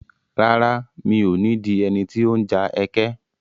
Rárá, mi ò ní di ẹni tí ó ń ja ẹkẹ.